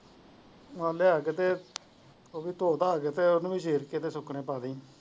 ਹਾਂ ਲਿਆ ਕੇ ਤੇ ਉਹਨੂੰ ਧੋ ਧਾ ਕੇ ਉਹਨੂੰ ਵੀ ਗੇਟ ਤੇ ਸੁੱਕਣੇ ਪਾ ਦਾਈ।